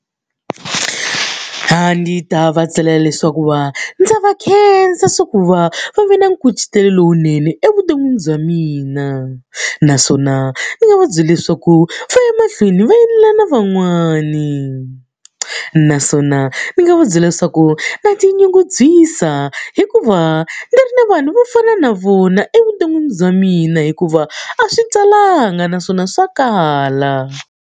A ndzi ta va tsalela leswaku va ndza va khensa leswaku va va ve na nkucetelo lowunene evuton'wini bya mina. Naswona ndzi nga va byela leswaku va ya emahlweni va endlela na van'wani. Naswona ni nga va byela leswaku na tinyungubyisa hikuva ndzi ri ni vanhu vo fana na vona evuton'wini bya mina hikuva a swi talanga naswona swa kala.